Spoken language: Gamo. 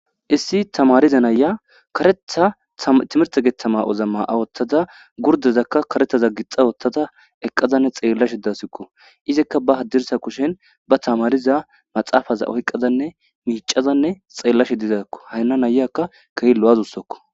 Issi tamariza naya kareeththa timirte geththama'oza ma'a woththada gurdezakka kareeththaza gixa wooththada eqqadanne xeellashshe dassukko izikka ba haddirssa kushen ba tamariza maxaafaza oyqqadanne miicadanne xeellashshe dizazikko hana na'iyakka kehi lo'iawussikko